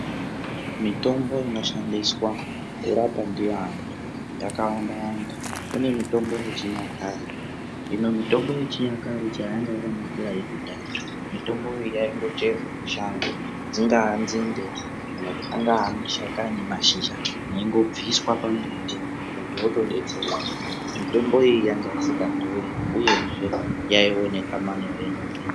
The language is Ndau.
Mitombo inoshandiswa kurapa ndiyo antu yakawanda wanda kune mutombo yechinyakare hino mutombo yechinyakare chayanga yakanakira yekudhaya mutombo yi yaindocherwa mushango dzingaa nzinde kana mashakani mashizha aingobviswa pambuti muntu otodetsereka mutombo iyi yanga isingadhuri uyezve yaioneka manyore nyore.